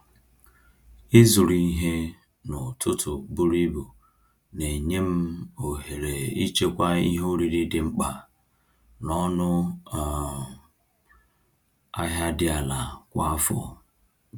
Ịzụrụ ihe n’ụtụtụ buru ibu na-enye m ohere ịchekwa ihe oriri dị mkpa n’ọnụ um ahịa dị ala kwa afọ.